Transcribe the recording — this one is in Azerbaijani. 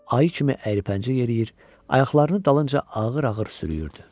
Ayı kimi əyri pəncə yeriyir, ayaqlarını dalınca ağır-ağır sürüyürdü.